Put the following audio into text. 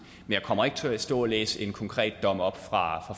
jeg kommer ikke til at stå og læse en konkret dom op fra